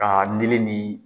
Aa nili ni